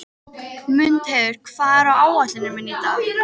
Mundheiður, hvað er á áætluninni minni í dag?